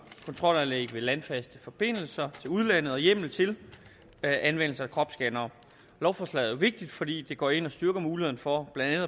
kontrolanlæg ved landfaste forbindelser til udlandet og hjemmel til anvendelse af kropsscannere lovforslaget er vigtigt fordi det går ind og styrker muligheden for blandt